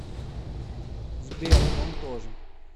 сбер он тоже